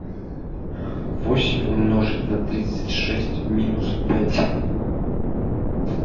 восемь умножить на тридцать шесть минус пять